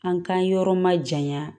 An k'an yɔrɔ ma janya